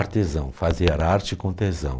Artesão, fazer arte com tesão.